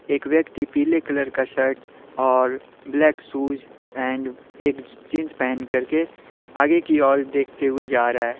एक व्यक्ति पीले कलर का शर्ट और ब्लैक शूज एंड एक ज जींस पहन करके आगे की ओर देखते हुए जा रहा है।